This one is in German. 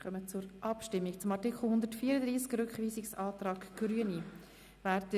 Wir kommen zur Abstimmung über den Rückweisungsantrag Grüne zu Artikel 134.